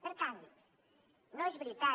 per tant no és veritat